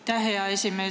Aitäh, hea esimees!